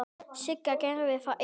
Sigga gerði það ein.